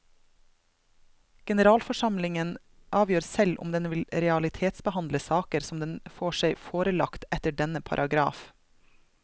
Generalforsamlingen avgjør selv om den vil realitetsbehandle saker som den får seg forelagt etter denne paragraf.